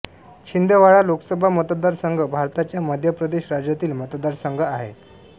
छिंदवाडा लोकसभा मतदारसंघ भारताच्या मध्य प्रदेश राज्यातील मतदारसंघ आहे